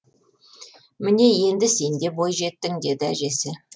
міне енді сен де бойжеттің деді әжесі